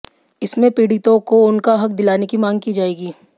इसमें पीड़ितों को उनका हक दिलाने की मांग की जाएगी